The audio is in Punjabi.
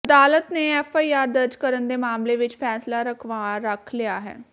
ਅਦਾਲਤ ਨੇ ਐਫਆਈਆਰ ਦਰਜ ਕਰਨ ਦੇ ਮਾਮਲੇ ਵਿਚ ਫੈਸਲਾ ਰਾਖਵਾਂ ਰੱਖ ਲਿਆ ਹੈ